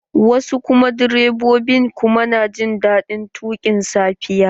Wasu direbobin kuma na jin daɗin tuƙin safiya.